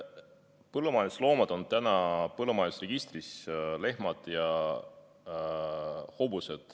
Põllumajandusloomad, lehmad ja hobused, on täna põllumajandusregistris.